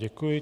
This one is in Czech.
Děkuji.